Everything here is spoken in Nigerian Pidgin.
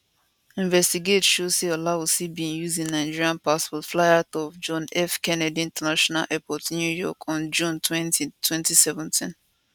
investigate show say olawusi bin use im nigeria passport fly out of john f kennedy international airport new york on junetwenty2017